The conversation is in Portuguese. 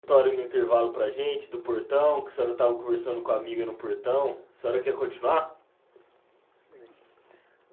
Aquela história no intervalo para a gente, do portão, que a senhora tava conversando com a amiga no portão, a senhora quer continuar?